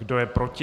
Kdo je proti?